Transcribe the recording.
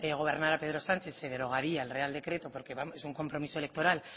gobernara pedro sánchez se derogaría el real decreto porque es un compromiso electoral